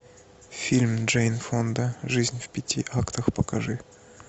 фильм джейн фонда жизнь в пяти актах покажи